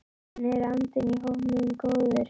En er andinn í hópnum góður?